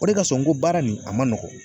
O de kasɔn n ko baara nin a ma nɔgɔn